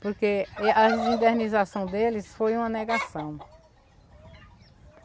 Porque a desindernização deles foi uma negação.